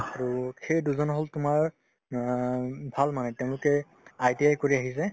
আৰু সেই দুজন হ'ল তোমাৰ অ উম ভাল মানে তেওঁলোকে ITI কৰি আহিছে